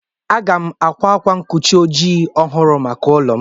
M ga-àkwá ákwá nkochi ojii ọhụrụ maka ụlọ m.